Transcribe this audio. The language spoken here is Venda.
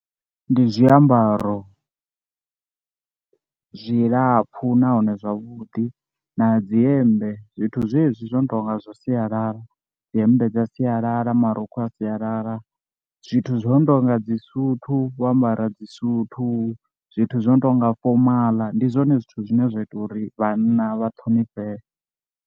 Ndi zwiambaro zwilapfhu nahone zwavhuḓi na dzi hemmbe zwithu zwezwi zwo no tonga zwa sialala, dzi hemmbe dza sialala marukhu a sialala, zwithu zwo no tonga dzi suthu vho ambara dzi suthu, zwithu zwo no tonga fomala ndi zwone zwithu zwine zwa ita uri vhanna vha ṱhonifhee.